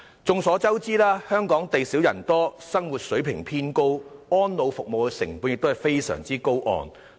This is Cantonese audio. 眾所周知，香港地少人多，生活水平偏高，安老服務的成本非常高昂。